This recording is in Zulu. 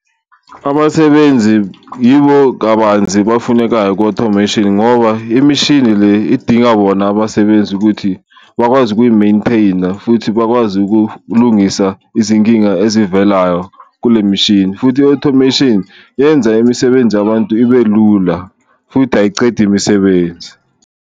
Abasebenzi yibo kabanzi bafunekayo ku-automation ngoba imishini le idinga bona abasebenzi ukuthi bakwazi ukuyi-maintainer, futhi bakwazi ukulungisa izinkinga ezivelayo kule mishini. Futhi i-automation yenza imisebenzi yabantu ibe lula futhi ayicedi imisebenzi.